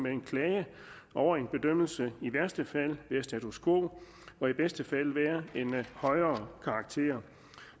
en klage over en bedømmelse i værste fald være status quo og i bedste fald være en højere karakter